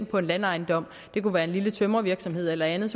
på en landejendom det kunne være en lille tømrervirksomhed eller andet